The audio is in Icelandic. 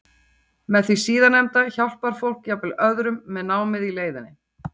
Með því síðarnefnda hjálpar fólk jafnvel öðrum með námið í leiðinni.